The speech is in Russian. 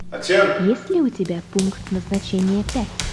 есть ли у тебя пункт назначения пять